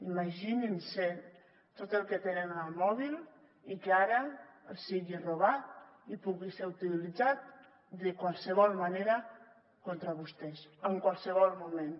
imaginin se tot el que tenen en el mòbil i que ara els sigui robat i pugui ser utilitzat de qualsevol manera contra vostès en qualsevol moment